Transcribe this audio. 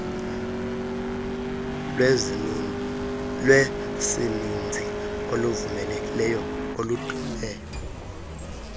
lwesininzi oluvulelekileyo oludume